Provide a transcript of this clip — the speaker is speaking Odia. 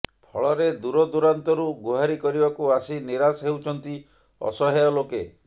ଫଳରେ ଦୂରଦୂରାନ୍ତରୁ ଗୁହାରି କରିବାକୁ ଆସି ନିରାଶ ହେଉଛନ୍ତି ଅସହାୟ ଲୋକେ